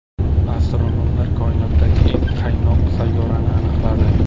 Astronomlar koinotdagi eng qaynoq sayyorani aniqladi.